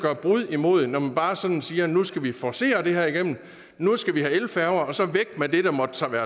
vold imod når man bare sådan siger at nu skal vi forcere det her igennem nu skal vi have elfærger og så væk med det der måtte sejle